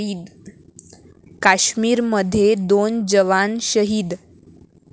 काश्मीरमध्ये दोन जवान शहीद